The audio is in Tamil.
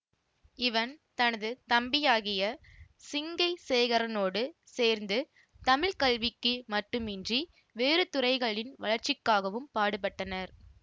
இவன் தனது தம்பியாகிய சிங்கை சேகரனோடு சேர்ந்து தமிழ் கல்விக்கு மட்டுமின்றி வேறு துறைகளின் வளர்ச்சிக்காகவும் பாடுபட்டனர்